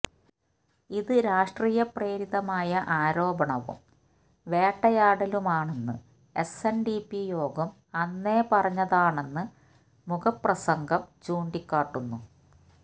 ഇത് രാഷ്ട്രീയ പ്രേരിതമായ ആരോപണവും വേട്ടയാടലുമാണെന്ന് എസ്എന്ഡിപി യോഗം അന്നേ പറഞ്ഞതാണെന്ന് മുഖപ്രസംഗം ചൂണ്ടിക്കാട്ടുന്നു